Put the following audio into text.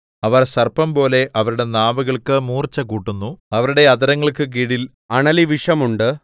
അവർ സർപ്പംപോലെ അവരുടെ നാവുകൾക്ക് മൂർച്ചകൂട്ടുന്നു അവരുടെ അധരങ്ങൾക്ക് കീഴിൽ അണലിവിഷം ഉണ്ട് സേലാ